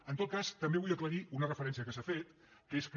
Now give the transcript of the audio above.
en tot cas també vull aclarir una referència que s’ha fet que és que